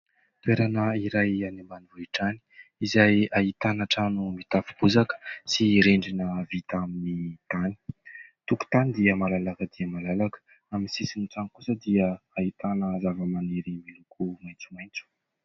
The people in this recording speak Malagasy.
Toerana iray any ambanivohitra any izay ahitana trano mitafy bozaka sy rindrina vita amin'ny tany, tokontany dia malalaka dia malalaka amin'ny sisin'ny trano kosa dia ahitana zava-maniry miloko maitsomaitso